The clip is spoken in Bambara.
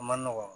A man nɔgɔ